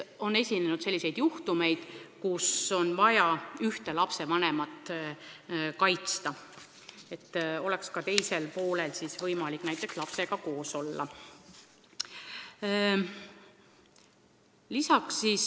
On ju juhtumeid, kus on vaja ühte lapsevanemat selles mõttes kaitsta, et oleks ka teisel vanemal võimalik lapsega koos olla.